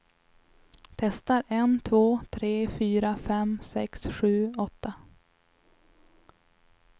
Testar en två tre fyra fem sex sju åtta.